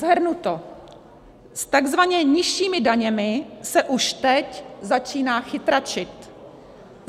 Shrnuto, s takzvaně nižšími daněmi se už teď začíná chytračit.